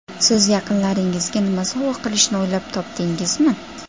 Siz yaqinlaringizga nima sovg‘a qilishni o‘ylab topdingizmi?